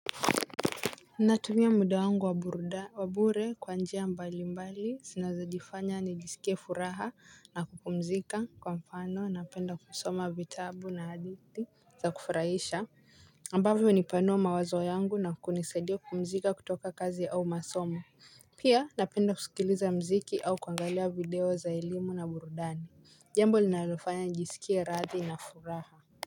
Natumia muda wangu wa burudani wa bure kwa njia mbalimbali zinazojifanya nijisikie furaha na kupumzika kwa mfano napenda kusoma vitabu na hadithi za kufurahisha ambavyo hunipanua mawazo yangu na kunisaidia kupumzika kutoka kazi au masomo. Pia napenda kusikiliza mziki au kuangalia video za elimu na burudani. Jambo linalofanya nijisikie radhi na furaha.